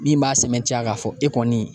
Min b'a sɛmɛntiya k'a fɔ e kɔni